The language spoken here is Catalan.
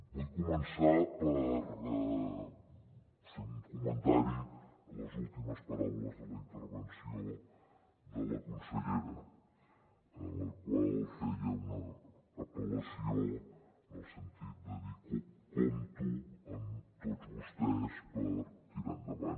vull començar per fer un comentari a les últimes paraules de la intervenció de la consellera en la qual feia una apel·lació en el sentit de dir compto amb tots vostès per tirar endavant